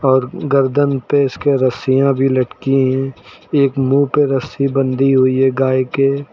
और गर्दन पर इसके रसिया भी लड़की हैं एक मुंह पे रस्सी बंधी हुई है गाय के।